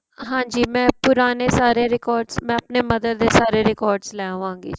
ਹਾਂਜੀ ਮੈ ਪੁਰਾਣੇ ਸਾਰੇ records ਮੈ ਆਪਣੇਂ mother ਦੇ ਸਾਰੇ records ਲੈ ਆਵਾਗੀ ਜ਼ੀ